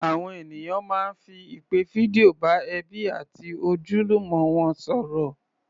Àwọn ènìyàn máa ń fi ìpè fídíò bá ẹbí àti ojúlùmọ̀ wọn sọ̀rọ̀